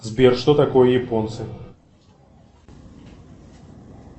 сбер что такое японцы